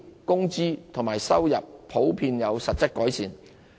工資及收入普遍有實質改善。